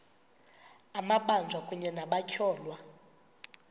amabanjwa kunye nabatyholwa